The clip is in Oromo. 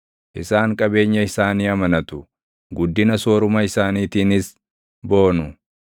Isaan qabeenya isaanii amanatu; guddina sooruma isaaniitiinis boonu.